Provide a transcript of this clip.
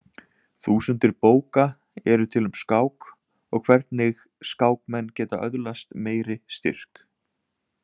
Þúsundir bóka eru til um skák og hvernig skákmenn geta öðlast meiri styrk.